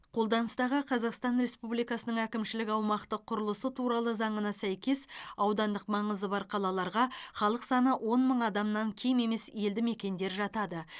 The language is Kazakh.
қолданыстағы қазақстан республикасының әкімшілік аумақтық құрылысы туралы заңына сәйкес аудандық маңызы бар қалаларға халық саны он мың адамнан кем емес елді мекендер жатады